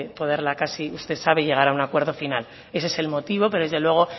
poderla casi usted sabe llegar a un acuerdo final ese es el motivo pero desde luego